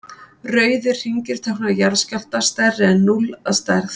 rauðir hringir tákna jarðskjálfta stærri en núll að stærð